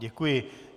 Děkuji.